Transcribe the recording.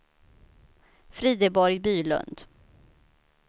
Frideborg Bylund